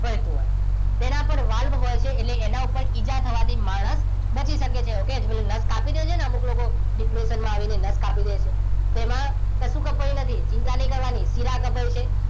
વહેતું હોય. તેના પર વાલ્વ હોય છે એટલે એના ઉપર ઈજા થવાથી માણસ બચી શકે છે. okay જે નસ કાપી રહે છે ને અમુક લોકો જે depression માં આવીને નશ કાપી લે તેમાં કશું કપાયું નથી. ચિંતા નહિ કરવાની શીરા કપાઈ છે.